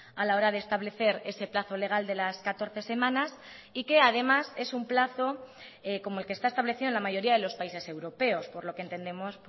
a la hora de establecer ese plazo legal de las catorce semanas y que además es un plazo como el que está establecido en la mayoría de los países europeos por lo que entendemos